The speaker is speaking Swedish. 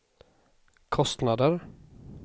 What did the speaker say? kostnader